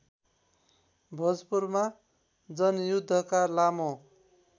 भोजपुरमा जनयुद्धका लामो